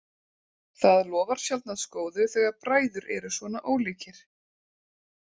Það lofar sjaldnast góðu þegar bræður eru svona ólíkir.